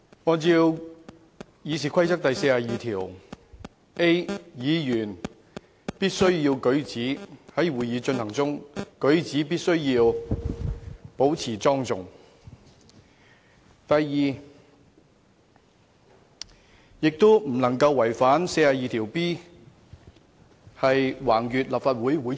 按照《議事規則》第 42a 條，在立法會會議進行中，議員在舉止上須保持莊重，議員亦不得違反《議事規則》第 42b 條，在會議期間橫越立法會會場。